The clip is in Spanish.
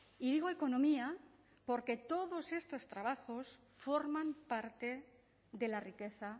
y digo economía porque todos estos trabajos forman parte de la riqueza